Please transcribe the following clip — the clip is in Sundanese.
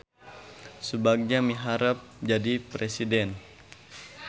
Subagja miharep jadi presiden